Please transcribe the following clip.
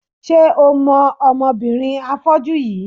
Ṣé o mọ ọmọbìnrin afọ́jú yìí?